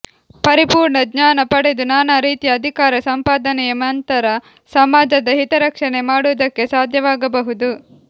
ಪರಿಪೂರ್ಣ ಜ್ಞಾನ ಪಡೆದು ನಾನಾ ರೀತಿಯ ಅಧಿಕಾರ ಸಂಪಾದನೆಯ ನಂತರ ಸಮಾಜದ ಹಿತರಕ್ಷಣೆ ಮಾಡುವುದಕ್ಕೆ ಸಾಧ್ಯವಾಗಬಹುದು